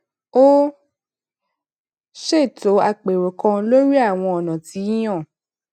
ó ṣètò apero kan lórí àwọn ònà téèyàn